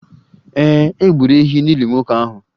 Ee, e gburu ehi n'ili nwoke ahụ